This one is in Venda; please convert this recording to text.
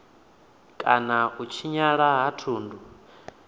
kana u tshinyala ha thundu